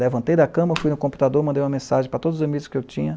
Levantei da cama, fui no computador, mandei uma mensagem para todos os amigos que eu tinha.